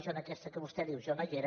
jo en aquesta que vostè diu no hi era